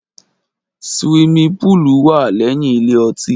Ṣiwími púlú wa lẹ́yìn ìlé ọtí